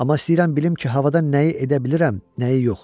Amma istəyirəm bilim ki, havada nəyi edə bilirəm, nəyi yox.